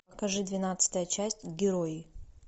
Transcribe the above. покажи двенадцатая часть герои